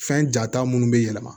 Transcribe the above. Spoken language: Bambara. Fɛn jata minnu bɛ yɛlɛma